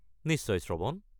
নিশ্চয়, শ্ৰৱণ।